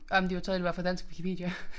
Ej men de fortalte det var fra dansk Wikipedia